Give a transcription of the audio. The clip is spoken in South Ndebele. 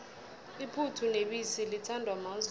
iphuthu nebisi lithandwa mazulu